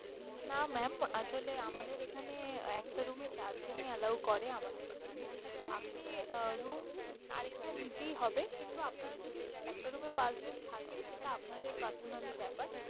না mam আসলে আমাদের এখানে একটা room এ চার জনই allow করে আমাদের এখানে। আপনি আহ room আর একটা নিতেই হবে কিন্তু আপনারা যদি একটা room এ পাঁচজন থাকেন সেটা আপনাদের personally ব্যাপার